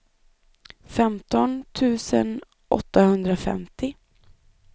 femton tusen åttahundrafemtio